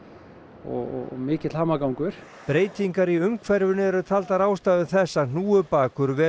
og mikill hamagangur breytingar í umhverfinu eru taldar ástæður þess að hnúfubakur velur